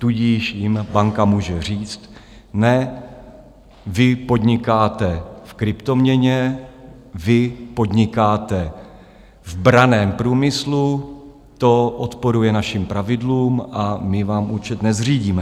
Tudíž jim banka může říct: Ne, vy podnikáte v kryptoměně, vy podnikáte v branném průmyslu, to odporuje našim pravidlům a my vám účet nezřídíme.